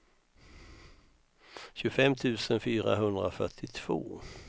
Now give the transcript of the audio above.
tjugofem tusen fyrahundrafyrtiotvå